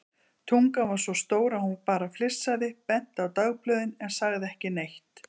Tungan var svo stór að hún bara flissaði, benti á dagblöðin en sagði ekki neitt.